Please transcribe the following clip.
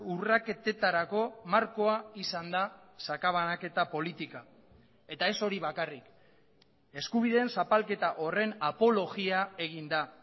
urraketetarako markoa izan da sakabanaketa politika eta ez hori bakarrik eskubideen zapalketa horren apologia egin da